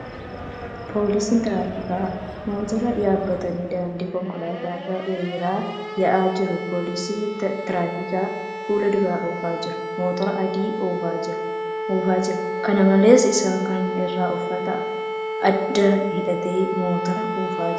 Poolisiin tiraafikaa motora yaabbatanii daandii konkolaataa irra hiriiraan yaa'aa jiru . Poolisiin tiraafikaa fuuldura oofaa jiru motora adii oofaa jira. Kana malees, isaan kaan irraa uffata addaa hidhatee motora oofaa jira.